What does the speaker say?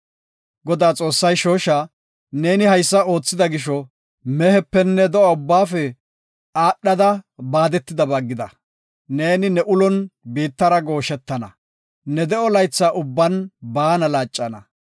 Godaa Xoossay shooshaa, “Neeni haysa oothida gisho, mehepenne do7a ubbaafe aadhada baadetidaba gida. Neeni ne ulon biittara gooshetana; ne de7o laytha ubban baana laaccana.